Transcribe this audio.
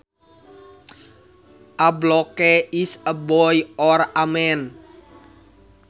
A bloke is a boy or a man